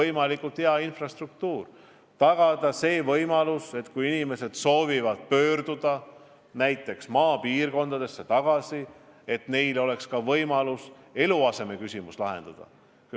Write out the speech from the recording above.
Tuleb tagada, et kui inimesed soovivad maapiirkondadesse tagasi pöörduda, siis neil oleks ka võimalus eluasemeküsimus lahendada.